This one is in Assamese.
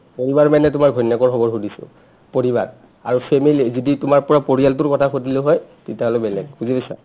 পৰিবাৰ মানে তোমাৰ ঘৈণীয়াকৰ খবৰ সুধিছো পৰিবাৰ আৰু family যদি তোমাৰ পৰা পৰিয়ালটোৰ কথা সুধিলো হৈ তেতিয়া হ'লে বেলেগ বুজি পাইছা